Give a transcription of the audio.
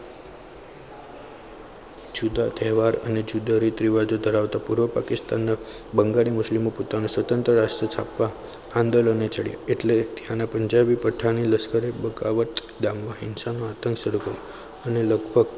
જુદા તહેવારો અને જુદા રીતિ રિવાજો ધરાવતા પૂર્વ પાકિસ્તાનના બંગાળી મુસ્લિમો પોતાનું સ્વતંત્ર રાજ્ય સ્થાપવા આંદોલનને ચઢ્યા એટલે ત્યાના પંજાબી પઠાણી લશ્કરી હિંસા નો આતંક શરૂ કર્યો અને લગભગ